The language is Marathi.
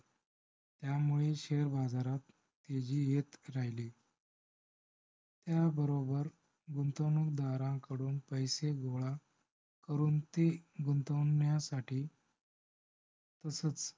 ह्यामुळे share बाजारात वृद्धी येत राहिली. हयाबरोबर गुंतवणूकदाराकडून पैसे गोळा करून ती गुंतवण्यासाठी तसच